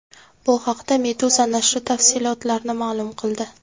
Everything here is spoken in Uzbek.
Bu haqda Meduza nashri tafsilotlarni ma’lum qildi .